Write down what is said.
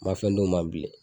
N man fɛn d'o ma bilen.